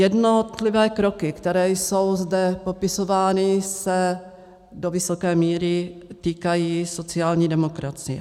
Jednotlivé kroky, které jsou zde popisovány, se do vysoké míry týkají sociální demokracie.